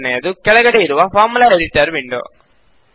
ಎರಡನೆಯದು ಕೆಳಗಡೆ ಇರುವ ಫಾರ್ಮುಲಾ ಎಡಿಟರ್ ವಿಂಡೋ